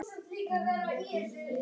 Mamma elskaði börn og dýr.